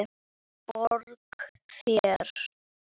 Borga þér?